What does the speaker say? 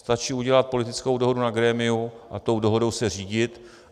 Stačí udělat politickou dohodu na grémiu a tou dohodou se řídit.